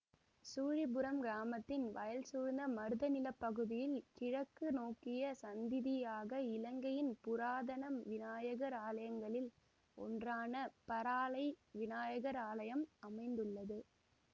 சுழிபுரம் கிராமத்தின் வயல் சூழ்ந்த மருத நில பகுதியில் கிழக்கு நோக்கிய சந்திதியாக இலங்கையின் புராதன விநாயகர் ஆலயங்களில் ஒன்றான பறாளை விநாயகர் ஆலயம் அமைந்துள்ளது